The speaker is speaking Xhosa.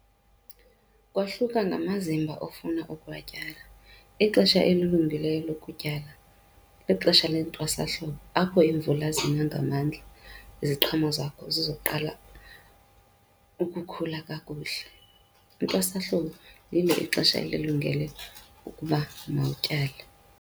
Kwahluka ngamazimba ofuna ukuwatyala. Ixesha elilungileyo lokutyala lixesha lentwasahlobo apho iimvula zina ngamandla, iziqhamo zakho zizoqala ukukhula kakuhle. Intwasahlobo lilo ixesha elilungele ukuba mawutyale.